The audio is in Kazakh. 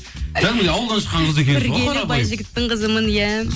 кәдімгідей ауылдан шыққан қыз екенсіз ғой қарапайым қызымын иә